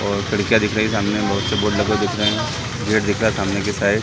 और खिडकियाँ दिख रही है सामने बहोत से बोर्ड लगे हुए दिख रहे है गेट दिख रहा है सामने की साइड --